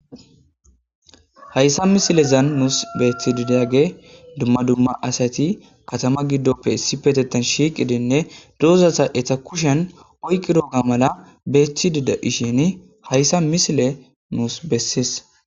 hayssa misilezan nuus beeththi didage dumma dumma asati katama giddoppe issi petetan shiiqidinne douzasa eta kushen oyqi dooga mala beeththi dida ishini hayssa misile nuus bessies